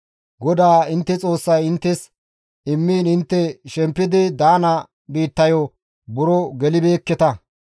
GODAA intte Xoossay inttes immiin intte shempidi daana biittayo buro gelibeekketa.